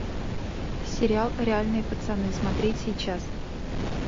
сериал реальные пацаны смотреть сейчас